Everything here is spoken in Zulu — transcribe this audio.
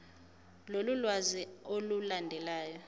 lolu lwazi olulandelayo